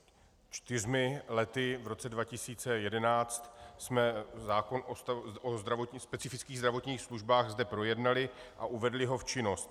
Před čtyřmi lety, v roce 2011, jsme zákon o specifických zdravotních službách zde projednali a uvedli ho v činnost.